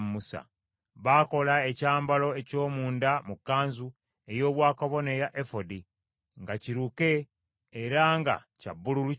Baakola ekyambalo eky’omunda mu kkanzu ey’obwakabona eya efodi, nga kiruke era nga kya bbululu kyonna.